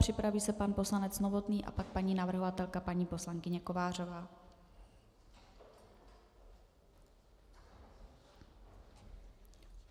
Připraví se pan poslanec Novotný a pak paní navrhovatelka paní poslankyně Kovářová.